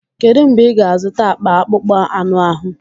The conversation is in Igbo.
Kedu mgbe ị ga-azụta akpa akpụkpọ anụ ahụ?